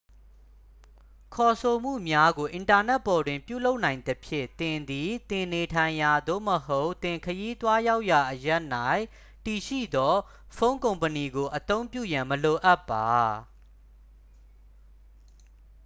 ခေါ်ဆိုမှုများကို အင်တာနက်ပေါ်တွင် ပြုလုပ်နိုင်သဖြင့် သင်သည် သင်နေထိုင်ရာ သို့မဟုတ် သင်ခရီးသွားရောက်ရာ အရပ်၌ တည်ရှိသော ဖုန်းကုမ္ပဏီကို အသုံးပြုရန် မလိုအပ်ပါ